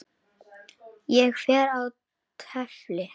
Ég fer og tefli!